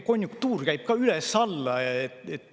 Konjunktuur käib ka üles-alla.